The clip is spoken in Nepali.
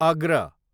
अग्र